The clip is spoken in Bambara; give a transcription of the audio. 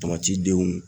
Tomati denw